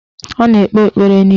Ọ na-ekpe ekpere n'ilu